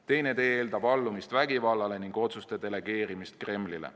Teine tee eeldab allumist vägivallale ning otsuste delegeerimist Kremlile.